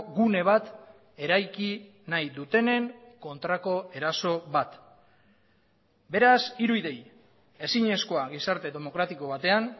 gune bat eraiki nahi dutenen kontrako eraso bat beraz hiru idei ezinezkoa gizarte demokratiko batean